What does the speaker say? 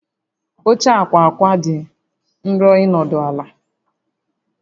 Oche ákwà ákwà dị nro ịnọdụ ala